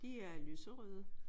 De er lyserøde